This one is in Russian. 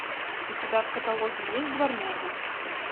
у тебя в каталоге есть дворняги